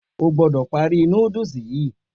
O gbọ́dọ̀ parí noddles yìí.